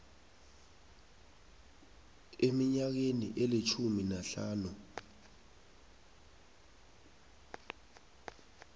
eminyakeni elitjhumi nahlanu